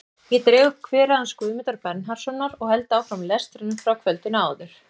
Ég dreg upp kverið hans Guðmundar Bernharðssonar og held áfram lestrinum frá kvöldinu áður.